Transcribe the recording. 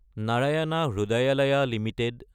Narayan Hrudayalaya Ltd